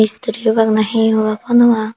mistiri obak na hi obak honnopang.